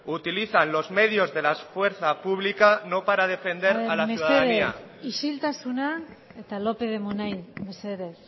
utilizan los medios de la fuerza pública no para defender a la ciudadanía mesedez isiltasuna eta lópez de munain mesedez